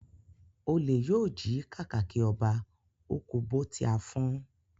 Olè yóò jí kàkàkí ọba, ó kú bó tí á fọ́n